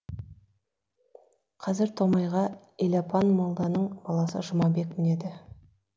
қазір томайға елапан молданың баласы жұмабек мінеді